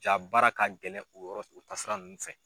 Jaa baara ka gɛlɛn u yɔrɔ u taasira ninnu fɛ.